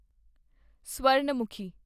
Suvarnamukhi